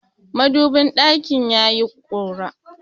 Madubin ɗakina yayi ƙura.